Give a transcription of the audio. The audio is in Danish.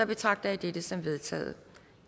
betragter jeg dette som vedtaget